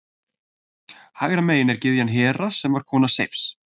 Hægra megin er gyðjan Hera sem var kona Seifs.